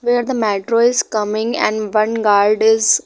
where the metro is coming and one guard is --